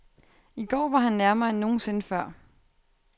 I går var han nærmere end nogensinde før.